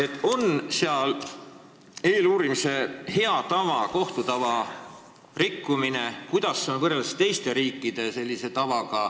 Kas nende puhul on tegu eeluurimise hea tava või kohtu tava rikkumisega – kuidas sellega on teiste riikide tavadega võrreldes?